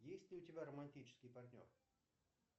есть ли у тебя романтический партнер